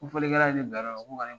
Ko folikɛla ye bila yɔrɔ nin na ko ka ne